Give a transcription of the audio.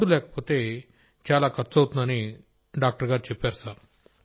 Rajesh Prajapati card లేకపోతే చాలా ఖర్చవుతుందని డాక్టర్ చెప్పారు సార్